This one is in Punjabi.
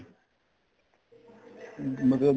ਮਤਲਬ